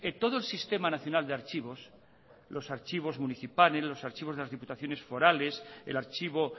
todo el sistema nacional de archivos los archivos municipales los archivos de las diputaciones forales el archivo